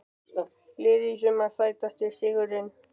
Liðið í sumar Sætasti sigurinn?